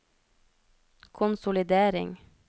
konsolidering